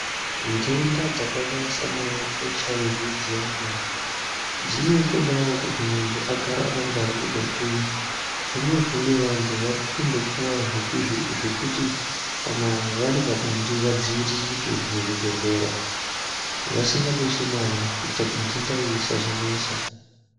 Ndenda dzakaita sana HIV dziyani dzinotodawo kuti munhu agare akangwaririke, zvinezvi wandu wari kumbopuwa zvekuti kana wari pabonde wadziwiririke muzvibhedhlera, wasinga dusi mare kuti ndenda iyi isazonesa.